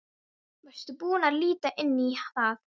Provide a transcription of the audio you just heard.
Varstu búinn að líta inn í það?